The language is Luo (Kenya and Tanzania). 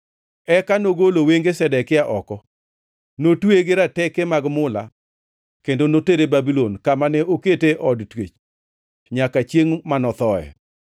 Eka nogolo wenge Zedekia oko, notweye gi rateke mag mula kendo notere Babulon, kama ne okete e od twech nyaka chiengʼ mano thoe.